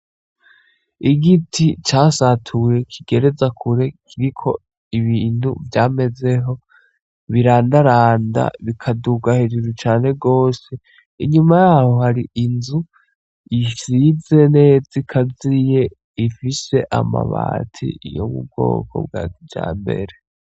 Igiti casatuye kigereza kure kiriko ibintu vyamezeho, birandaranda, bikaduga hejuru cane gose. Inyuma yaho hari inzu isize neza ikaziye ifise amabati yo mu bwoko bwa kijambere.